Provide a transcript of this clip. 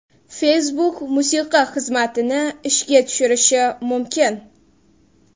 Facebook musiqa xizmatini ishga tushirishi mumkin.